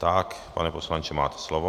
Tak, pane poslanče, máte slovo.